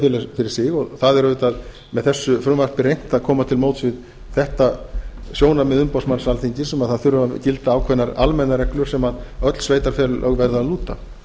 sveitarfélag fyrir sig og það er auðvitað með þessu frumvarpi reynt að koma til móts við þetta sjónarmið umboðsmanns alþingis um að það þurfi að gilda ákveðnar almennar reglur sem öll sveitarfélög verða að lúta